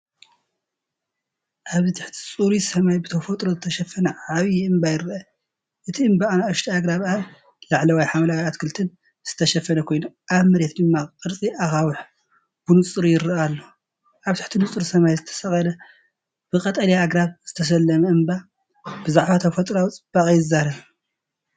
ኣብዚ ትሕቲ ጽሩይ ሰማይ ብተፈጥሮ ዝተሸፈነ ዓቢ እምባ ይረአ። እቲ እምባ ብንኣሽቱ ኣግራብን ኣብ ላዕሊ ሓምላይ ኣትክልትን ዝተሸፈነ ኮይኑ፡ኣብ መሬት ድማ ቅርጺ ኣኻውሕ ብንጹር ይርአ ኣሎ። ኣብ ትሕቲ ንጹር ሰማይ ዝተሰቕለ፡ብቐጠልያ ኣግራብ ዝተሰለመ እምባ፡ብዛዕባ ተፈጥሮኣዊ ጽባቐ ይዛረብ።